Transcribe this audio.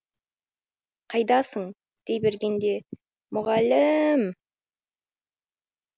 қайдасың дей бергенде мұғал ііі іі м